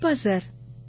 கண்டிப்பா சார்